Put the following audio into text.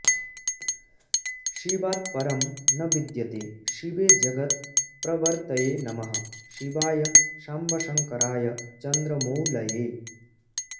शिवात्परं न विद्यते शिवे जगत् प्रवर्तये नमः शिवाय साम्बशङ्कराय चन्द्रमौलये